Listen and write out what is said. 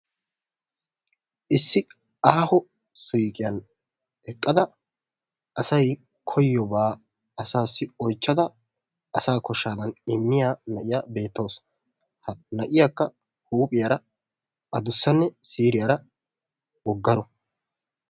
issi aaho suuqqiyan eqqada asay koyiyoobaa asaassi oychchada asa koshaadann imiya na'iya beetawusu. ha na'iyakka adussanne siiriyara wogaro.